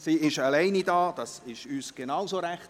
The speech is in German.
Sie ist alleine hier, dies ist uns genauso recht.